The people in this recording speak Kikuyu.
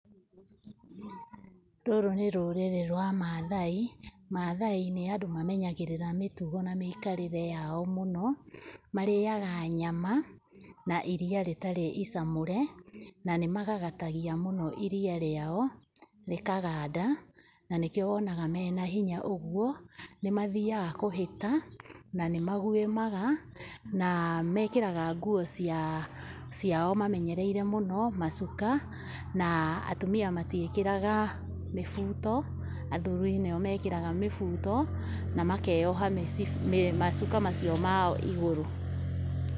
Rũrũ nĩ rũrĩrĩ rwa maathai, maathai nĩ andũ mamenyagĩrĩra mĩtugo na mĩikarĩre yao mũno, marĩaga nyama na iria rĩtarĩ icamũre, na nĩ magagatagia mũno iria rĩao rĩkaganda na nĩkĩo wonaga mena hinya ũguo. Nĩ mathiaga kũhĩta na nĩ maguĩmaga, na nĩ mekĩraga nguo ciao mamenyereire mũno, macuka, na atumia matiĩkĩraga mĩbuto, athuri nĩo mekĩraga mĩbuto, na makeyoha mĩcibi, macuka macio mao igũrũ.